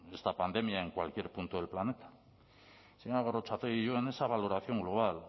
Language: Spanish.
de esta pandemia en cualquier punto del planeta señora gorrotxategi yo en esa valoración global